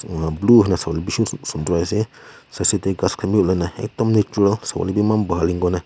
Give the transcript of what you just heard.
ena blue hoina savo kae bishi sundor asa side side tae ghas khan vi olai na ekdum natural savo lae vi eman bhal--